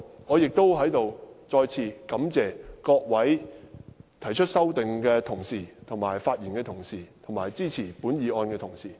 我在此亦再次感謝各位提出修正案的同事、發言的同事及支持本議案的同事。